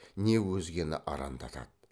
не өзгені арандатады